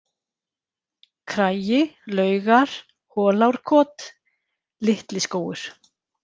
Kragi, Laugar, Holárkot, Litliskógur